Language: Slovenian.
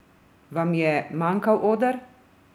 Vam je manjkal oder?